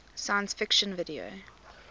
science fiction video